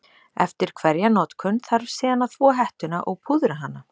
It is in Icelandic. Eftir hverja notkun þarf síðan að þvo hettuna og púðra hana.